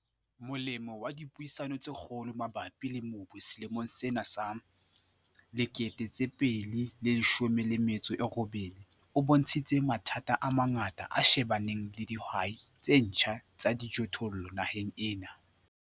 Molemo wa dipuisano tse kgolo mabapi le mobu selemong sena sa 2018 o bontshitse mathata a mangata a shebaneng le dihwai tse ntjha tsa dijothollo naheng ena.